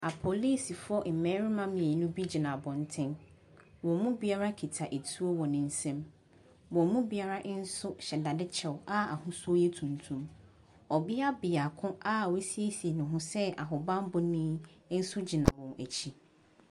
Apolisifoɔ mmarima mmienu bi gyina abɔntene. Wɔn mu biara kita tuo wɔ ne nsam. Wɔn mu biara nso hyɛ dadeɛ kyɛ a ahosuo yɛ tuntum. Ɔbea beako a wɔasiesie ne ho sɛ ahobammɔ ni nso gyina wɔn akyi.